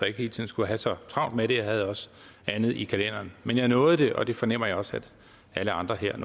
ikke hele tiden skulle have så travlt med det for jeg havde også andet i kalenderen men jeg nåede det og det fornemmer jeg også alle andre her